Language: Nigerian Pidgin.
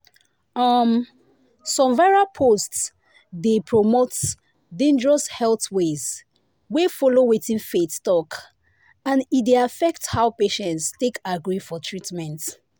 um some viral posts dey promote dangerous health ways wey follow wetin faith talk and e dey affect how patients take agree for treatment.”